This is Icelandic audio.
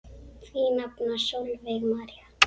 Þín nafna Sólveig María.